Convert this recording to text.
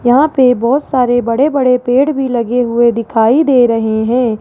यहां पे बहोत सारे बड़े-बड़े पेड़ भी लगे हुए दिखाई दे रहे हैं।